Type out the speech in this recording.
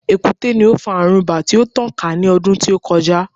Èkúté ni ó fa àrùn ibà tí ó tàn ká ní ọdú tí ó kọjá.